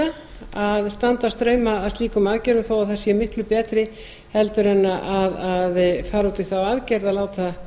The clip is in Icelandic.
ofviða að standa straum af slíkum aðgerðum þó að þær séu miklu betri en að fara út í þá aðgerð að láta